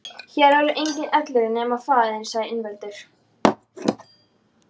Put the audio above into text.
Hér verður enginn elliær nema faðir þinn, sagði Ingveldur.